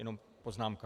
Jenom poznámka.